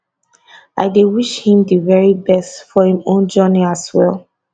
i dey wish him di very best for im own journey as well